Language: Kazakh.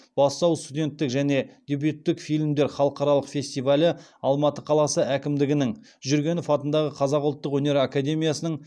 бастау студенттік және дебюттік фильмдердің халықаралық фестивалі алматы қаласы әкімдігінің жүргенов атындағы қазақ ұлттық өнер академиясының